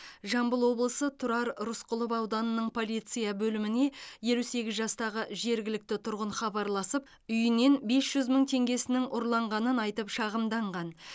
жамбыл облысы тұрар рысқұлов ауданының полиция бөліміне елу сегіз жастағы жергілікті тұрғын хабарласып үйінен бес жүз мың теңгесінің ұрланғанын айтып шағымданған